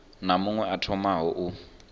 na muṅwe a tamaho u